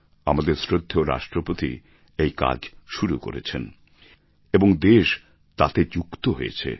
আমাদের শ্রদ্ধেয় রাষ্ট্রপতি এই কাজ শুরু করেছেন এবং দেশ তাতে যুক্ত হয়েছে